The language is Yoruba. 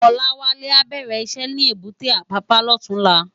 Olawale á bèrè iṣè ni ébùté Apapa lòtúnlá